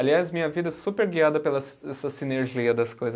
Aliás, minha vida é super guiada pelas, essa sinergia das coisas.